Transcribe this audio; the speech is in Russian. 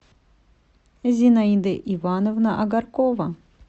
зинаида ивановна огаркова